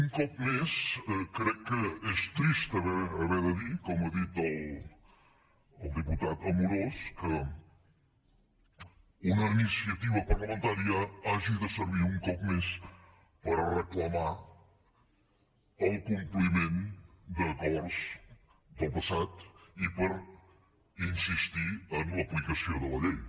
un cop més crec que és trist haver de dir com ha dit el diputat amorós que una iniciativa parlamentària hagi de servir un cop més per reclamar el compliment d’acords del passat i per insistir en l’aplicació de la llei